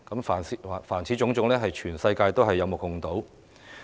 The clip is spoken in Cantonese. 凡此種種，是全世界有目共睹的。